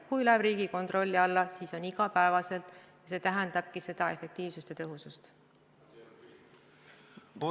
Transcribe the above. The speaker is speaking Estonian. Kui see läheb Riigikontrolli alla, siis see on igapäevane töö, see tähendabki efektiivsust ja tõhusust.